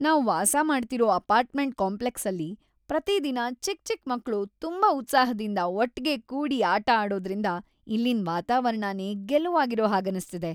ನಾವ್ ವಾಸಮಾಡ್ತಿರೋ ಅಪಾರ್ಟ್ಮೆಂಟ್ ಕಾಂಪ್ಲೆಕ್ಸಲ್ಲಿ ಪ್ರತಿದಿನ ಚಿಕ್‌ ಚಿಕ್ ಮಕ್ಳು ತುಂಬಾ ಉತ್ಸಾಹ್ದಿಂದ ಒಟ್ಗೆ ಕೂಡಿ ಆಟ ಆಡೋದ್ರಿಂದ ಇಲ್ಲಿನ್‌ ವಾತಾವರಣನೇ ಗೆಲುವಾಗಿರೋ ಹಾಗನ್ನಿಸ್ತಿದೆ.